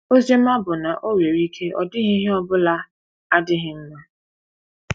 Ozi ọma bụ na o nwere ike ọ dịghị ihe ọ bụla adịghị mma.